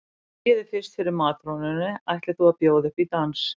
Þú hneigir þig fyrst fyrir matrónunni ætlir þú að bjóða upp í dans.